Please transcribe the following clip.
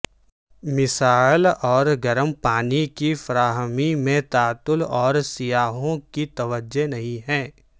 مسائل اور گرم پانی کی فراہمی میں تعطل اور سیاحوں کی توجہ نہیں ہے